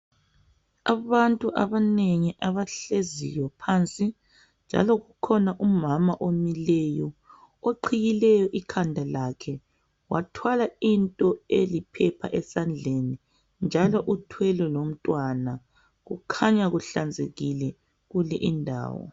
Abantu abanengi abahleziyo phansi njalo kukhona umama omileyo oqhiyileyo ikhanda lakhe wathwala into eliphepha esandleni njalo uthwele lomntwana kukhanya kuhlanzekile kule indawo.